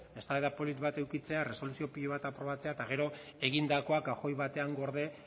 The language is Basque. eztabaida polit bat edukitzea erresoluzio pilo bat aprobatzea eta gero egindakoa kajoi batean gorde